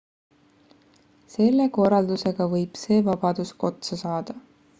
selle korraldusega võib see vabadus otsa saada